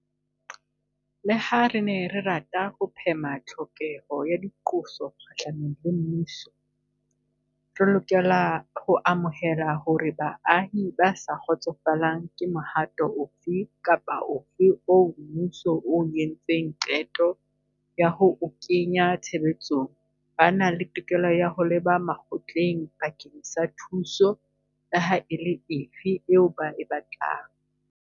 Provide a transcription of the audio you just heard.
Leha re ne re rata ho phema tlhokeho ya diqoso kgahlanong le mmuso, re lokela ho amohela hore baahi ba sa kgotsofalang ke mohato ofe kapa ofe oo mmuso o entseng qeto ya ho o kenya tshebetsong ba na le tokelo ya ho leba makgotleng bakeng sa thuso leha e le efe eo ba e batlang.